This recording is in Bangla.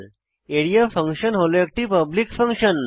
আরিয়া ফাংশন হল একটি পাবলিক ফাংশন